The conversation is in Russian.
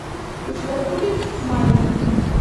у тебя будет майна